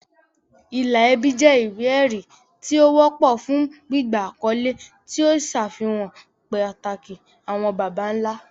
Ìlà ẹbí jẹ́ ìwé-ẹ̀rí tí ó wọ́pọ̀ fún gbígba àkọ́lé, tí ó ń ṣàfihàn pàtàkì àwọn baba ńlá.